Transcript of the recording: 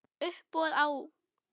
Uppboð á